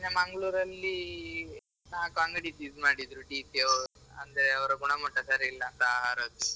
ಮೊನ್ನೆ Mangalore ರಲ್ಲಿ ನಾಲ್ಕ್ ಅಂಗಡಿ seize ಮಾಡಿದ್ರು DC ಅವ್ರು ಅಂದ್ರೆ ಅವ್ರ ಗುಣಮಟ್ಟ ಸರಿ ಇಲ್ಲಾಂತ ಆಹಾರದ್ದು.